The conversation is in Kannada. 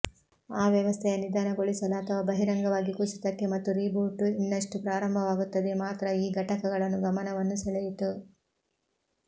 ಆ ವ್ಯವಸ್ಥೆಯ ನಿಧಾನಗೊಳಿಸಲು ಅಥವಾ ಬಹಿರಂಗವಾಗಿ ಕುಸಿತಕ್ಕೆ ಮತ್ತು ರೀಬೂಟ್ ಇನ್ನಷ್ಟು ಪ್ರಾರಂಭವಾಗುತ್ತದೆ ಮಾತ್ರ ಈ ಘಟಕಗಳನ್ನು ಗಮನವನ್ನು ಸೆಳೆಯಿತು